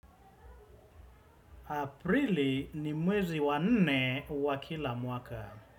Aprili, ni mwezi wa nne wa kila mwaka.